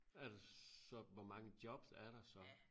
Er der så hvor mange jobs er der så?